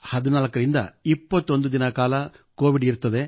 14 ರಿಂದ 21 ದಿನಗಳ ಕೋವಿಡ್ ಇರುತ್ತದೆ